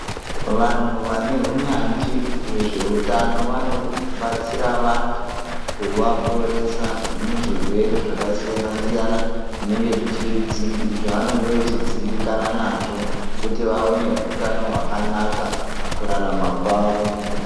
Vanhu vane hunyanzvi hwezveutano vanobatsira vantu kuvaporesa muzvirwere zvakasiyana-siyana zvavanenge vachidzimbikana nazvo kuti vave nehutano hwakanaka mukurarama kwavo.